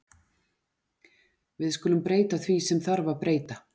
Við skulum breyta því sem þarf að breyta.